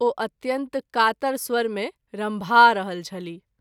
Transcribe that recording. ओ अत्यंत कातर स्वर मे रम्भा रहल छलीह।